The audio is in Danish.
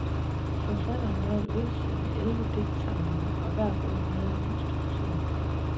Forfatteren nåede at udsende elleve digtsamlinger og hver bog havde en ny struktur.